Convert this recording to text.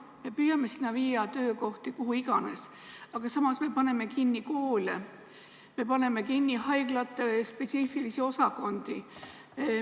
Me püüame viia töökohti kuhu iganes, aga samas me paneme kinni koole, me paneme kinni haiglate spetsiifilisi osakondi.